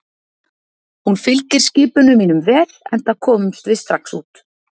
Hún fylgir skipunum mínum vel, enda komumst við strax út.